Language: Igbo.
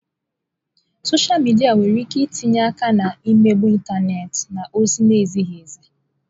Sọsha midia nwere ike itinye aka na mmegbu ịntanetị na ozi na-ezighi ezi.